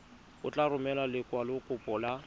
o tla romela lekwalokopo la